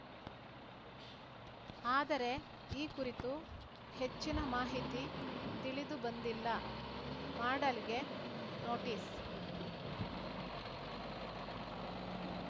ಆದರೆ ಈ ಕುರಿತು ಹೆಚ್ಚಿನ ಮಾಹಿತಿ ತಿಳಿದು ಬಂದಿಲ್ಲ ಮಾಡಾಳ್‌ಗೆ ನೋಟಿಸ್‌